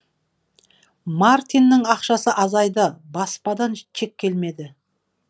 мартиннің ақшасы азайды баспадан чек келмеді